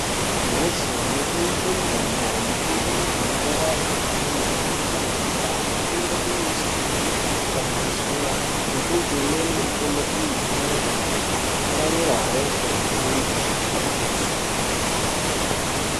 Kumhatso inotengeswe mitombo , mitombo inofanira kungwarirwa pantu panotontorera , aifanire kuiswa painopishwa ngezuwa , ngekuti imweni mitombo iyi inozopararira hosha mu antu.